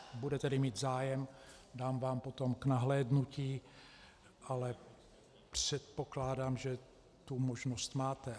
Budete-li mít zájem, dám vám potom k nahlédnutí, ale předpokládám, že tu možnost máte.